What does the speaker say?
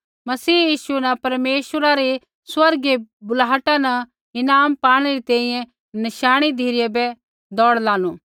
मसीह यीशु न परमेश्वरा री स्वर्गीय बुलाहटा न ईनाम पाणै री तैंईंयैं नशाणै धिरै बै दौड़ लानू